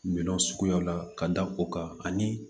Minɛnw suguyaw la ka da o kan ani